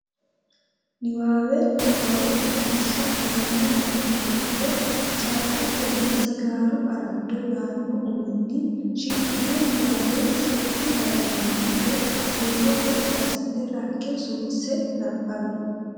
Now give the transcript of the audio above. Niwaawe Nabbawa Biddissa Tenne lamala giddo “Caatetenna Sijaaru Araado” yaanno uminni shiqqino niwaawe settu daqiiqi giddo huuro gotti assite, rakke, suwisse nabbawi.